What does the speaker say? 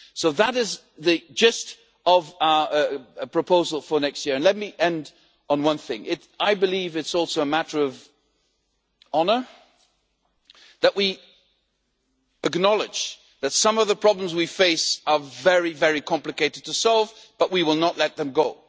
So that is the gist of our proposal for next year, and let me end on one thing I believe it is also a matter of honour that we acknowledge that some of the problems we face are very, very complicated to solve, but we will not let them go.